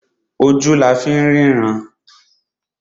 Ojú la fín rínran.